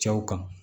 Cɛw kan